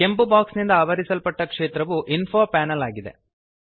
ಕೆಂಪು ಬಾಕ್ಸ್ ನಿಂದ ಆವರಿಸಲ್ಪಟ್ಟ ಕ್ಷೇತ್ರವು ಇನ್ಫೋ ಪ್ಯಾನೆಲ್ ಆಗಿದೆ